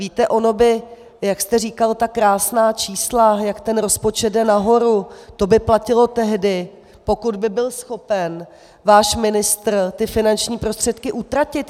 Víte, ono by, jak jste říkal ta krásná čísla, jak ten rozpočet jde nahoru, to by platilo tehdy, pokud by byl schopen váš ministr ty finanční prostředky utratit.